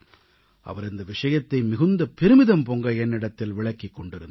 அவர் இந்த விஷயத்தை மிகுந்த பெருமிதம் பொங்க என்னிடத்தில் விளக்கிக் கொண்டிருந்தார்